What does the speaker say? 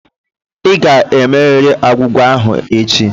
Ị ga-emerịrị agwụgwa ahụ echi!